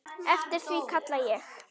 Eftir því kalla ég.